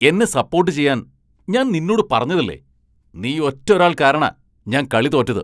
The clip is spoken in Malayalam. എന്നെ സപ്പോട്ട് ചെയ്യാൻ ഞാൻ നിന്നോട് പറഞ്ഞതല്ലേ ! നീ ഒറ്റൊരാൾ കാരണാ ഞാൻ കളി തോറ്റത്!